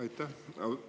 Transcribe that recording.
Aitäh!